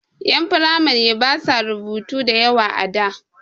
Ƴan firamare basu rubutu da yawa a da.